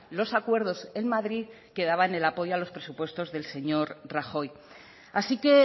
los acuerdos en madrid que daban el apoyo a los presupuestos del señor rajoy así que